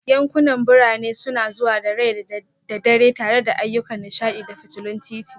Yankunan birane suna zuwa da rai da dare tare da ayyukan nishaɗi da fitulun titi